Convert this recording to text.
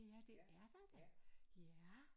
Ja det er der da ja